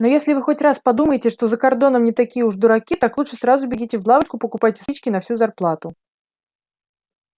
но если вы хоть раз подумаете что за кордоном не такие уж дураки так лучше сразу бегите в лавочку и покупайте спички на всю зарплату